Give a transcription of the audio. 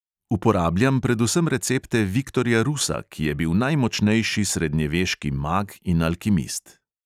Uporabljam predvsem recepte viktorja rusa, ki je bil najmočnejši srednjeveški mag in alkimist.